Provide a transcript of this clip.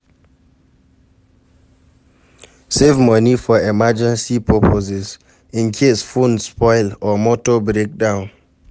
Save money for emergency purposes incase phone spoil or motor break down